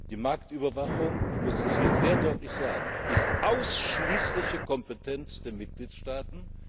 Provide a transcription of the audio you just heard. Die Marktüberwachung ich muss das hier sehr deutlich sagen ist ausschließliche Kompetenz der Mitgliedstaaten.